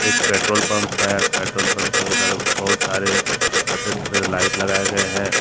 Petrol pump है petrol pump के उधर बहुत सारे सफेद सफेद लाइट लगाए गए हैं।